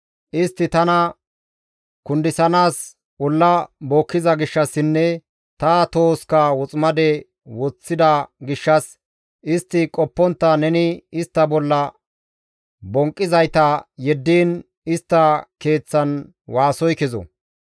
Istti tana kundisanaas olla bookkiza gishshassinne ta tohoska woximade woththida gishshas istti qoppontta neni istta bolla bonqqizayta yeddiin istta keeththan waasoy kezo.